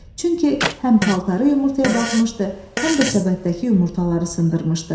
Çünki həm paltarı yumurtaya batmışdı, həm də səbətdəki yumurtaları sındırmışdı.